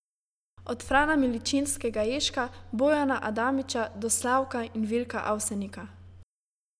Od Frana Miličinskega Ježka, Bojana Adamiča do Slavka in Vilka Avsenika.